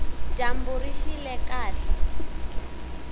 dyambu rixile kahle